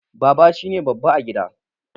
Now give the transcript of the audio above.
Baba shine babba a gida